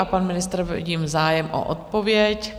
A pan ministr - vidím zájem o odpověď.